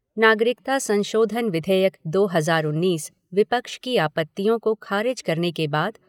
नागरिकता संशोधन विधेयक दो हजार उन्नीस विपक्ष की आपत्तियों को खारिज करने के बाद